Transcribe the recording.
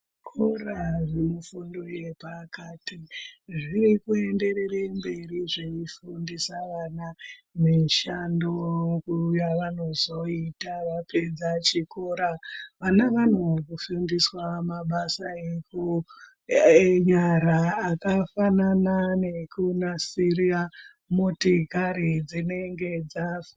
Zvikora zvinofundwe pakati zviri kuenderere mberi zveifundisa vana mishando yavanozoita vapedza chikora. Vana vanofundiswa mabasa enyara akafanana nekunasira motikari dzinenge dzafa.